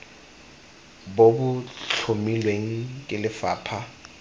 bo bo tlhomilweng ke lefapha